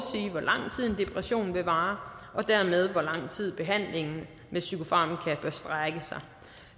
depression vil vare og dermed hvor lang tid behandlingen med psykofarmaka bør strække sig